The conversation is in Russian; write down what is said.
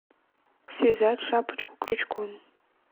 связать шапочку крючком